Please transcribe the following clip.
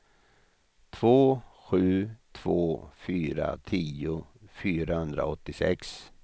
två sju två fyra tio fyrahundraåttiosex